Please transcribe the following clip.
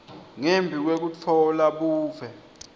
ngembi kwekutfola buve